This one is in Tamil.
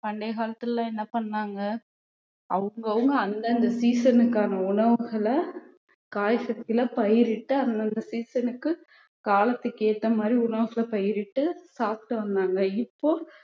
பண்டைய காலத்துல என்ன பண்ணாங்க அவங்கவங்க அந்தந்த season க்கான உணவுகளை காய்கறிகளை பயிரிட்டு அந்தந்த season க்கு காலத்துக்கு ஏத்த மாதிரி உணவுகளை பயிரிட்டு சாப்பிட்டு வந்தாங்க இப்போ